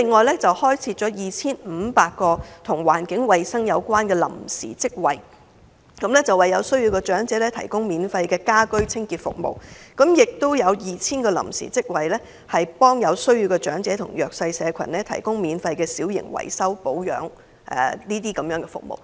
第二，開設 2,500 個與環境衞生有關的臨時職位，為有需要的長者提供免費家居清潔服務，並且開設 2,000 個臨時職位，為有需要的長者和弱勢社群提供免費小型維修保養等服務。